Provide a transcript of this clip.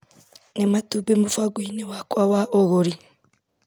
Nĩ matumbĩ mũbango-ini wakwa wa ũgũri.